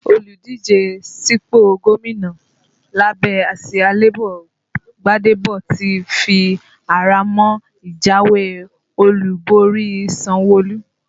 Olùdíje sípò gómìnà lábẹ́ àsìá Labour Gbadebo ti fi ara mọ́ ìjáwé olúborí Sanwo-Olu